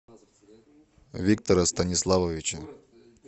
виктора станиславовича